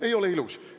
Ei ole ilus!